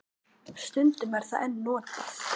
Stundum er það enn notað.